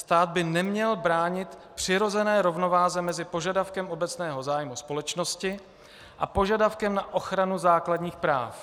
Stát by neměl bránit přirozené rovnováze mezi požadavkem obecného zájmu společnosti a požadavkem na ochranu základních práv.